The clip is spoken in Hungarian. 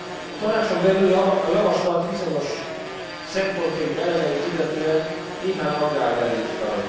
A Tanácson belül a javaslat bizonyos szempontjait, elemeit illetően néhány aggály merült föl.